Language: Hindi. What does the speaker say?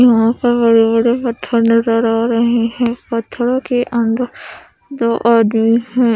यहा पर बड़े बड़े पत्थर नजर आ रहे है पथरो के अंदर दो आदमी है।